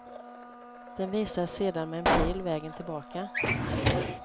Den visar sedan med en pil vägen tillbaka.